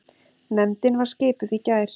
Nefndin var skipuð í gær.